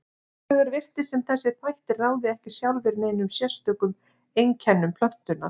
Hins vegar virtist sem þessir þættir ráði ekki sjálfir neinum sérstökum einkennum plöntunnar.